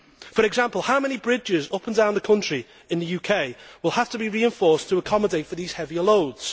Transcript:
For example, how many bridges up and down the country in the UK will have to be reinforced to accommodate these heavier loads?